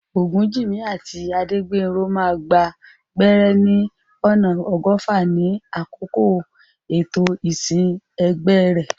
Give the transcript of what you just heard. Ogunjimi àti Adegbenro máa gba gbẹ́rẹ́ ní ọ̀nà ọgọ́fà ní àkókò ètò ìsìn ẹgbẹ́ rẹ̀.